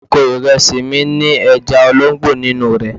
Oko ìrẹsì mi ní ẹja olóńgbò nínú rẹ̀.